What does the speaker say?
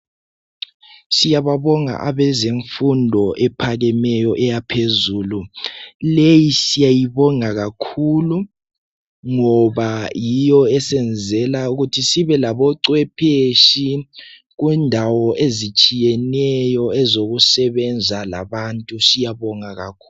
Siyababonga abezemfundo ephakemeyo eyaphezulu. Leyi siyabonga kakhulu ngoba yiyo esenzela ukuthi sibe labocwepheshi kundawo ezitshiyeneyo ezokusebenza labantu. Siyabonga kakhulu.